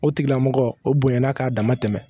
O tigilamɔgɔ o bonyana k'a dama tɛmɛ